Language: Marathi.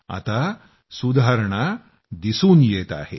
आता सुधारणा दिसून येत आहेत